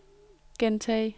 gentag